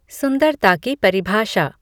सुंदरता की परिभाषा